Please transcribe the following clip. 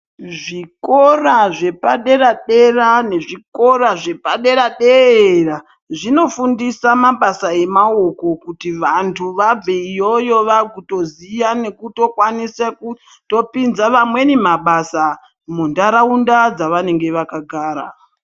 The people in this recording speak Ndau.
zvikora zvepadera-dera ne zvikora zvepadera-dera-a, zvinofundisa mabasa emaoko kuti vantu vabve iyoyo vakutoziya nekutokwanisa kutopinze vamweni mabasa ,munharaunda dzavanenge vakagara.